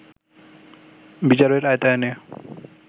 বিচারের আওতায় এনে